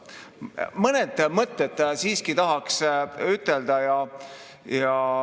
Mõned mõtted siiski tahaks ütelda.